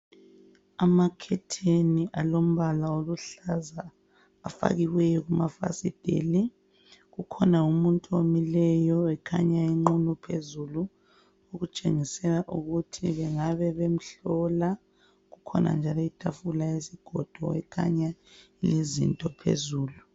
Amakhetheni alombala oluhlaza afakiweyo kumafasitela kukhona umuntu omileyo ekhanya enqunu phezulu okutshengisela ukuthi bangabe bemhlola. Kukhona njalo itafula lesigodo elikhanya lilezinto phezulu.